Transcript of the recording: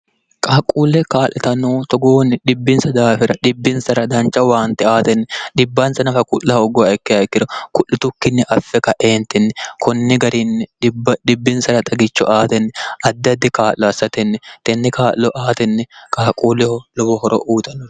qaaquulle kaa'litannoo togoonni dhibbinsa daafira dhibbinsara danca waante aatenni dhibbansa nafa ku'la hoggowa ikke hayikkiro ku'litukkinni affe kaeentinni kunni garinni dhibbinsara xagicho aatenni addi addi kaa'lo assatenni tenni kaa'lo aatenni qaaquulleho lobo horo uuxanno